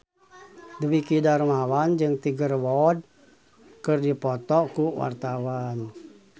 Dwiki Darmawan jeung Tiger Wood keur dipoto ku wartawan